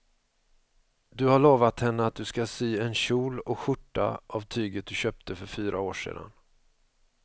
Du har lovat henne att du ska sy en kjol och skjorta av tyget du köpte för fyra år sedan.